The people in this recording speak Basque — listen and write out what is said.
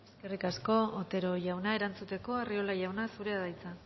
eskerrik asko otero jauna erantzuteko arriola jauna zurea da hitza